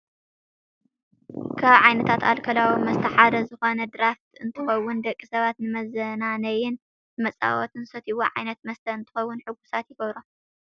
ካብ ዓይነታት ኣልኮላዊ መስተ ሓደ ዝኮነ ድራፍት እንትከውን ፣ ደቂ ሰባት ንመዝናነይን ንመፃወትን ዝሰትይዎ ዓይነት መስተ እንትከውን ሕጉሳት ይገብሮም ።